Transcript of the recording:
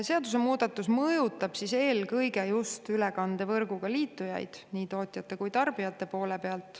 Seadusemuudatus mõjutab eelkõige ülekandevõrguga liitujaid, nii tootjaid kui ka tarbijaid.